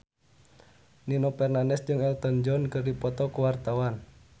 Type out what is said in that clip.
Nino Fernandez jeung Elton John keur dipoto ku wartawan